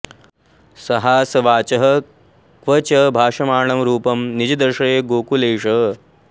सहासवाचः क्व च भाषमाणं रूपं निजं दर्शय गोकुलेश